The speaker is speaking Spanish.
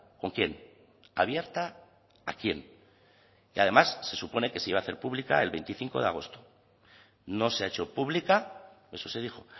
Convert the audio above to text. con quién abierta a quién y además se supone que se iba a hacer pública el veinticinco de agosto no se ha hecho pública eso se dijo